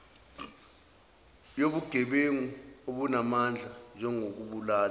yobugebengu obunamandla njengokubulala